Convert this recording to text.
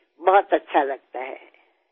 মোৰ মাৰ মনত আছিল আৰু তেওঁ এই বিষয়ে মোক কৈছিল